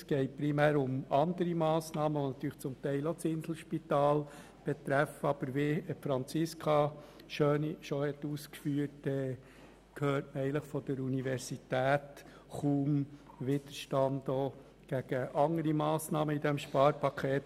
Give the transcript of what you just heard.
Es geht primär um andere Massnahmen, die natürlich zum Teil auch das Inselspital betreffen, aber wie Franziska Schöni ausgeführt hat, hört man von der Uni Bern kaum Widerstand, auch nicht gegen andere Massnahmen in diesem Sparpaket.